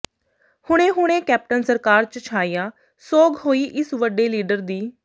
ਹੁਣੇ ਹੁਣੇ ਕੈਪਟਨ ਸਰਕਾਰ ਚ ਛਾਇਆ ਸੋਗ ਹੋਈ ਇਸ ਵਡੇ ਲੀਡਰ ਦੀ